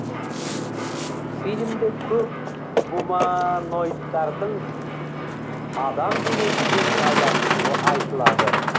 фильмде көк гумааа ноидтардың адам денесімен байланысуы айтылады